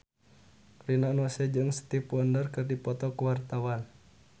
Rina Nose jeung Stevie Wonder keur dipoto ku wartawan